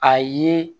A ye